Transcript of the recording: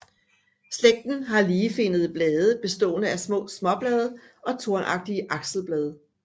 Slægten har ligefinnede blade bestående af små småblade og tornagtige akselblade